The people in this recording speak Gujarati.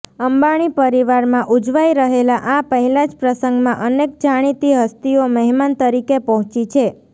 અંબાણી પરિવારમાં ઉજવાઈ રહેલા આ પહેલાં જ પ્રસંગમાં અનેક જાણીતી હસ્તીઓ મહેમાન તરીકે પહોંચી છે